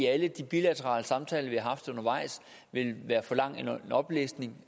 alle de bilaterale samtaler vi har haft undervejs ville være for lang en oplæsning